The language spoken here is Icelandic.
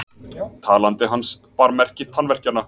Talandi hans bar merki tannverkjanna.